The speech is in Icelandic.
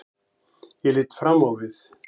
Ég lít fram á við.